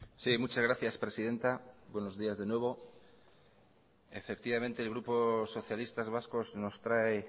sí muchas gracias presidenta buenos días de nuevo efectivamente el grupo socialistas vascos nos trae